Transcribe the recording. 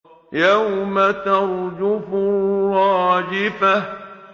يَوْمَ تَرْجُفُ الرَّاجِفَةُ